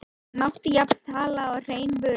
Mátti jafnvel tala um hrein vörusvik.